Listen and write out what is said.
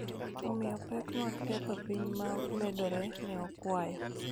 omiyo, pek mag ketho piny ma medore, ne okwayo.